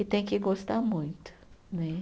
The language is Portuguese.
E tem que gostar muito, né?